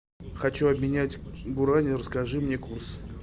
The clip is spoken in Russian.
хочу обменять гуарани расскажи мне курс